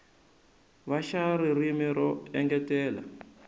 va xa ririmi ro engetela